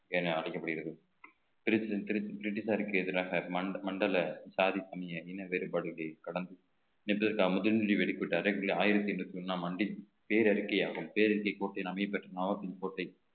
என அழைக்கப்படுகிறது பிரிட்டிஷாருக்கு எதிராக மண்~ மண்டல சாதி சமய இன வேறுபாடுகளைக் கடந்து ஆயிரத்தி எண்ணூத்தி ஒண்ணாம் ஆண்டின் பேரறிக்கையாகும் பேரறிக்கை கோட்டை கோட்டை